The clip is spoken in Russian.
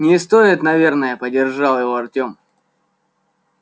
не стоит наверное поддержал его артём